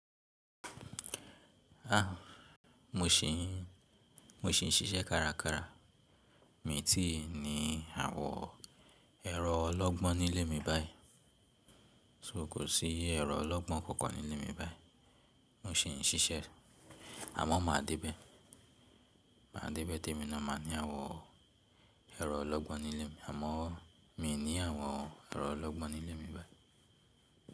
A, mo ṣì ń, mo ṣì ń ṣiṣẹ́ kárakára. Mi tíì ní àwọn ẹ̀rọ ológbọ́n nílé mi báyìí. So kò sí ẹ̀rọ ológbọ́n kankan nílé mi báyìí. Mo sì ń ṣiṣẹ́ àmọ́ màá dé bẹ́. Màá dé bẹ́ témi ná máa ní àwọn ẹ̀rọ ológbò nílé mi. Àmọ́ mi ò ní àwọn ẹ̀rọ ológbò nílé mi báyìí.